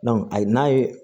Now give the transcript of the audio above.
ayi n'a ye